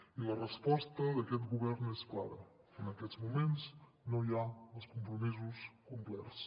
i la resposta d’aquest govern és clara en aquests moments no hi ha els compromisos complerts